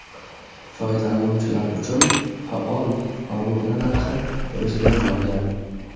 Foydalanuvchilar uchun faol obuna narxi o‘zgarmagan.